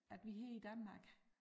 At vi her i Danmark